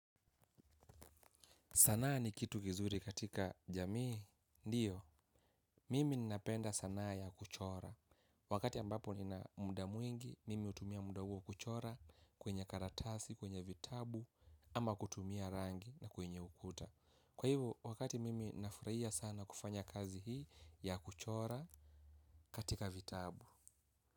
Sanaa ni kitu gizuri katika jamii. Ndiyo, mimi ninapenda sanaa ya kuchora. Wakati ambapo ninamuda mwingi, mimi utumia muda uo kuchora kwenye karatasi, kwenye vitabu, ama kutumia rangi na kwenye ukuta. Kwa hivyo, wakati mimi nafraia sana kufanya kazi hii ya kuchora katika vitabu.